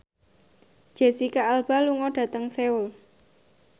Jesicca Alba lunga dhateng Seoul